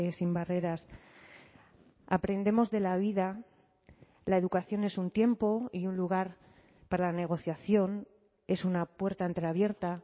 sin barreras aprendemos de la vida la educación es un tiempo y un lugar para la negociación es una puerta entreabierta